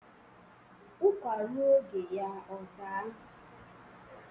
Ụkwạ ruo oge ya ọ daa.